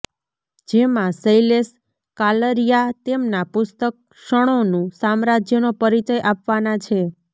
જેમાં શૈલેષ કાલરીયા તેમના પુસ્તક ક્ષણોનું સામ્રાજ્યનો પરિચય આપવાના છે